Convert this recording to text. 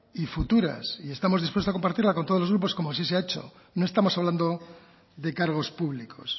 y futuras y estamos dispuestos a compartirla con todos los grupos como así se ha hecho no estamos hablando de cargos públicos